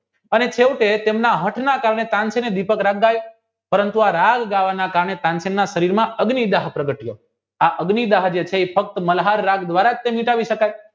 અને સેવકો એ તેમના હાંકના પરંતુ આ રાહજ કારણે ને કામે ફક્ત મલ્હાર રાજ દ્વારા જ સમજી શકાય